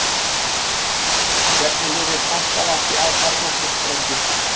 hvernig lifir kakkalakki af kjarnorkusprengju